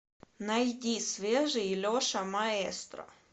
найди свежий леша маэстро